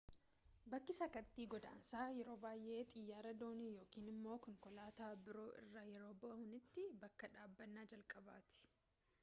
bakki sakattii godaansaa yeroo baayyee xiyyaara, doonii yookaan immoo konkolaataa biroo irraa yeroo bu’antti bakka dhaabbannaa jalqabaati